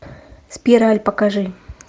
спираль покажи